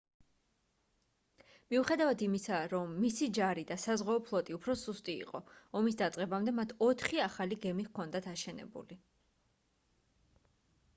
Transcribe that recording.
მიუხედავად იმისა რომ მისი ჯარი და საზღვაო ფლოტი უფრო სუსტი იყო ომის დაწყებამდე მათ ოთხი ახალი გემი ჰქონდათ აშენებული